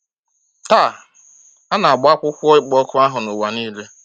Taa, a na-agba akwụkwọ ịkpọ òkù ahụ n’ụwa nile.